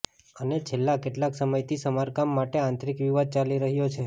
અને છેલ્લા કેટલાક સમયથી સમારકામ માટે આંતરીક વિવાદ ચાલી રહ્યો છે